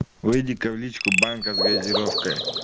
выйди-ка в личку банка с газировкой